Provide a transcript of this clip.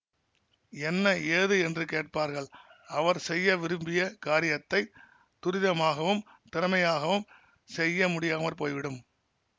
என்ன ஏது என்று கேட்பார்கள் அவர் செய்ய விரும்பிய காரியத்தை துரிதமாகவும் திறமையாகவும் செய்ய முடியாமற் போய்விடும்